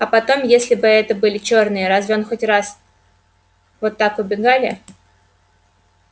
а потом если бы это были чёрные разве они хоть раз вот так убегали